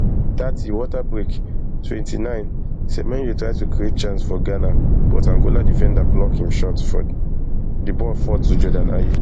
thirty water break twenty-nine semenyo try to create chance for ghana but angola defenders block im shot di ball fall to jordan ayew